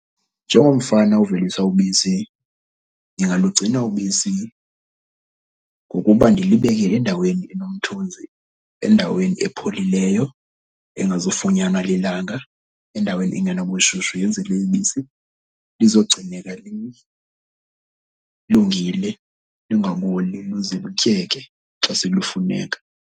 Njengomfana ovelisa ubisi, ndingalugcina ubisi ngokuba ndilibeke endaweni enomthunzi, endaweni epholileyo engazufunyanwa lilanga, endaweni engenabushushu. Yenzele ibisi lizogcineka lilungile, lingaboli luze lityeke xa selufuneka.